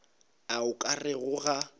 a o ka rego ga